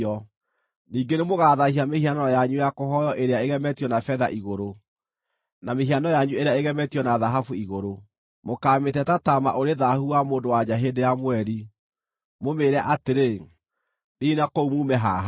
Ningĩ nĩmũgathaahia mĩhianano yanyu ya kũhooywo ĩrĩa ĩgemetio na betha igũrũ, na mĩhiano yanyu ĩrĩa ĩgemetio na thahabu igũrũ; mũkaamĩte ta taama ũrĩ thaahu wa mũndũ-wa-nja hĩndĩ ya mweri, mũmĩĩre atĩrĩ, “Thiĩi na kũu muume haha!”